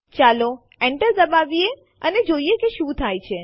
ચાલો Enter દબાવીએ અને જોઈએ કે શું થાય છે